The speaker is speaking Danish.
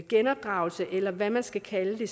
genopdragelse eller hvad man skal kalde det